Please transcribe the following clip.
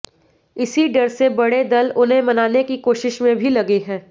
इसी डर से बड़े दल उन्हें मनाने की कोशिश में भी लगे हैं